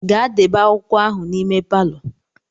Gaa debe akwụkwọ ahụ n'ime palọ.